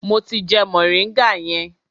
Mo ti jẹ moringa yẹn.